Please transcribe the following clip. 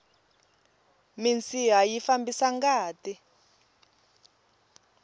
minsiha yi fambisa ngati